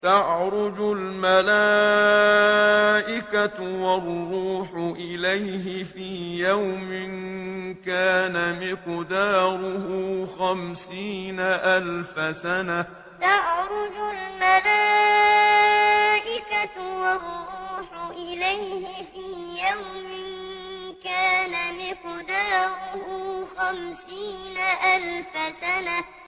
تَعْرُجُ الْمَلَائِكَةُ وَالرُّوحُ إِلَيْهِ فِي يَوْمٍ كَانَ مِقْدَارُهُ خَمْسِينَ أَلْفَ سَنَةٍ تَعْرُجُ الْمَلَائِكَةُ وَالرُّوحُ إِلَيْهِ فِي يَوْمٍ كَانَ مِقْدَارُهُ خَمْسِينَ أَلْفَ سَنَةٍ